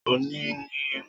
O ni ni ọjọ abameta